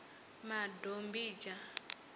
madombidzha